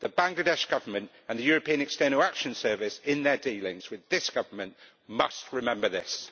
The Bangladesh Government and the European External Action Service, in their dealings with this government, must remember this.